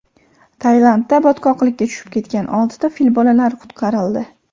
Tailandda botqoqlikka tushib ketgan oltita fil bolalari qutqarildi .